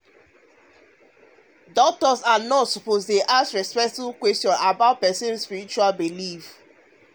ah doctors and nurses suppose dey um ask um respectful questions about respectful questions about spiritual belief.